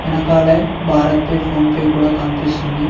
వెనకాలే BharatPe PhonePe కూడా కనిపిస్తుంది.